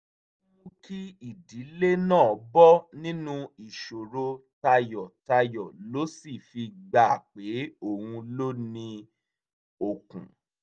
ki idile naa bọ ninu iṣoro tayọtayọ lo si fi gba pe oun lo ni okun